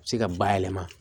Se ka bayɛlɛma